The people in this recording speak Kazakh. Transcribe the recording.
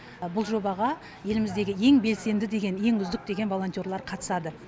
бұл жобаға еліміздегі ең белсенді деген ең үздік деген волонтерлар қатысады